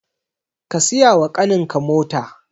Ka siyawa ƙaninka mota